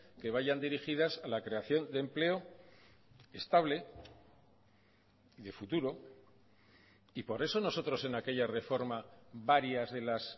que vayan dirigidas a la creación de empleo estable de futuro y por eso nosotros en aquella reforma varias de las